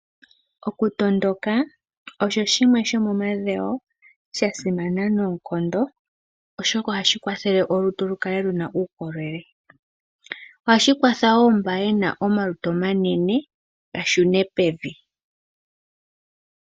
Okutondoka osho shimwe shomomadhewo sha simana noonkondo oshoka ohashi kwathele olutu opo lukale luna uukolele. Ohashi kwatha wo mba yena omalutu omanene gashune pevi.